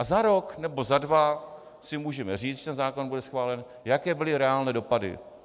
A za rok nebo za dva si můžeme říct, když ten zákon bude schválen, jaké byly reálné dopady.